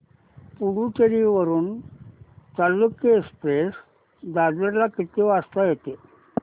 पुडूचेरी वरून चालुक्य एक्सप्रेस दादर ला किती वाजता येते